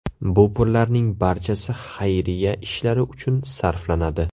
Bu pullarning barchasi xayriya ishlari uchun sarflanadi.